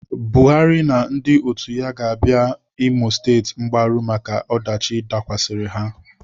Buhari na ndị otu ya ga-abịara Imo State mgbaru maka ọdachi dakwasịrị ha.